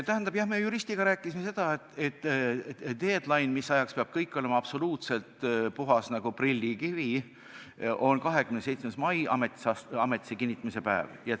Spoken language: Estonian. Tähendab, jah, me juristiga rääkisime, et deadline, mis ajaks peab kõik olema absoluutselt puhas nagu prillikivi, on 27. mai, ametisse kinnitamise päev.